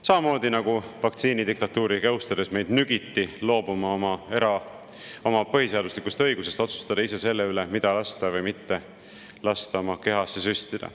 Samamoodi nügiti meid vaktsiinidiktatuuri jõustades loobuma oma põhiseaduslikust õigusest otsustada ise selle üle, mida lasta või mitte lasta oma kehasse süstida.